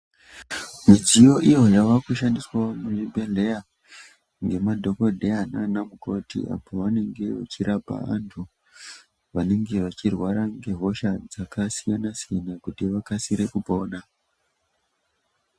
Midziyo iyo yavakushandiswawo muzvibhedhlera ngemadhokodheya naana mukoti apo pavanenge vachirapa vantu vanenge vachirwara ngehosha dzakasiyana siyana kuti vakasike kupona.